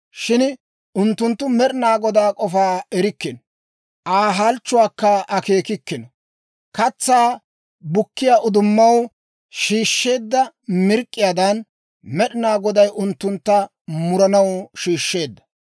Shin unttunttu Med'ina Godaa k'ofaa erikkino; Aa halchchuwaakka akeekikkino. Katsaa bukkiyaa uddumaw shiishsheedda mirk'k'iyaadan, Med'ina Goday unttuntta muranaw shiishsheedda.